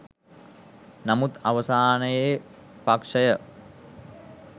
නමුත් අවසානයේ පක්ෂය